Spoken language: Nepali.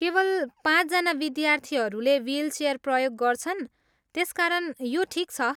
केवल पाँचजना विद्यार्थीहरूले विलचेयर प्रयोग गर्छन्, त्यसकारण यो ठिक छ।